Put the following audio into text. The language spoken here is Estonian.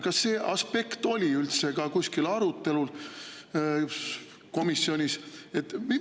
Kas see aspekt oli üldse arutamisel komisjonis?